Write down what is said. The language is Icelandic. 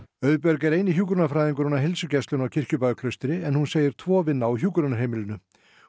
Auðbjörg er eini hjúkrunarfræðingurinn á heilsugæslunni á Kirkjubæjarklaustri en hún segir tvo vinna á hjúkrunarheimilinu